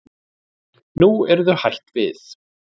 Nú eru þau hætt því.